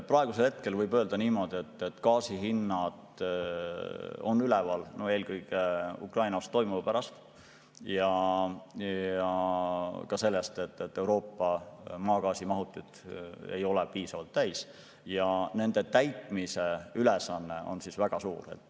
Praegusel hetkel võib öelda niimoodi, et gaasihinnad on üleval eelkõige Ukrainas toimuva pärast ja ka sellepärast, et Euroopa maagaasimahutid ei ole piisavalt täis ja nende täitmise ülesanne on väga suur.